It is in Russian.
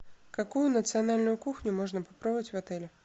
какую национальную кухню можно попробовать в отеле